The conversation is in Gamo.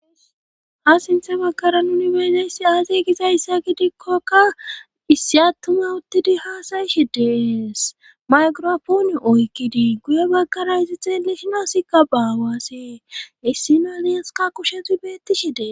ha sinthe bakkara nuni beezeyssi aasi gizayssa gidikkokka issi attuma uttidi haasayishi dees maykropooni oykidii guye bakkara isi xeelishinossikka baawaasee issi na liyaska kushetu beetti shi dee